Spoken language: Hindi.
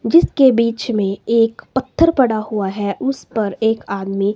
जिसके बीच में एक पत्थर पड़ा हुआ है उस पर एक आदमी--